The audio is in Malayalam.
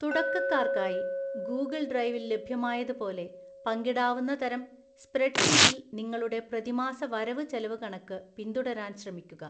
തുടക്കക്കാർക്കായി, ഗൂഗിള്‍ ഡ്രൈവിൽ ലഭ്യമായത് പോലെ പങ്കിടാവുന്ന തരം സ്‌പ്രെഡ്‌ഷീറ്റിൽ നിങ്ങളുടെ പ്രതിമാസ വരവുചെലവുകണക്ക് പിന്തുടരാന്‍ ശ്രമിക്കുക.